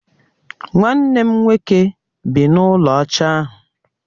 Nwanne m nwoke bị n'ulo ọcha ahu